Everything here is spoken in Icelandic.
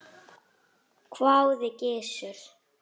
hváði Gizur.